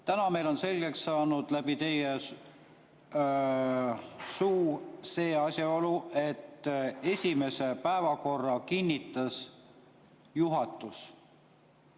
Täna on meile läbi teie suu selgeks saanud see asjaolu, et esimese päevakorra kinnitas juhatus.